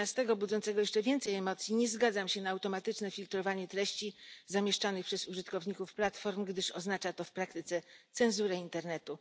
13 budzącego jeszcze więcej emocji nie zgadzam się na automatyczne filtrowanie treści zamieszczanych przez użytkowników platform, gdyż oznacza to w praktyce cenzurę internetu.